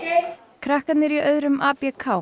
krakkarnir í öðrum